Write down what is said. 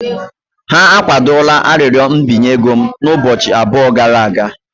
Ha akwadola arịrịọ mbinye ego m ụbọchị abụọ gara aga.